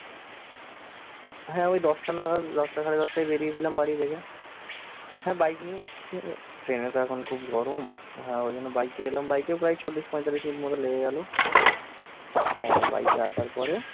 হ্যাঁ, ওই দশটা নাগাদ~ দশটা সাড়ে দশটায় বেরিয়েছিলাম বাড়ি থেকে। হ্যাঁ, bike নিয়ে এসেছি, ট্রেনেতো এখন খুব গরম, ও হ্যাঁ ওই জন্য bike এ এলাম। বাইকে প্রায় চল্রিশ-পঁয়তাল্লিশ মিনিট লেগে গেল। হ্যাঁ বাইকে আসার পর